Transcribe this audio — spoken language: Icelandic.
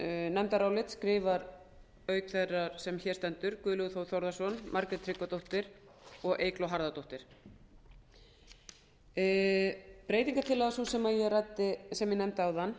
nefndarálit skrifa auk þeirrar sem hér stendur guðlaugur þór þórðarson margrét tryggvadóttir og eygló harðardóttir breytingartillaga sú sem ég nefndi áðan